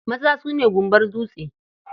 Maza su ne gumbar dutse.